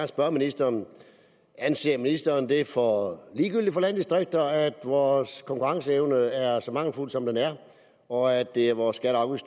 spørge ministeren anser ministeren det for ligegyldigt for landdistrikterne at vores konkurrenceevne er så mangelfuld som den er og at det er vores skatte og